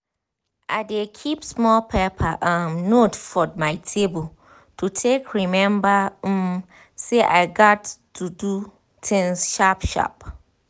i dey keep small paper um note for my table to take remember um say i gats do things sharp sharp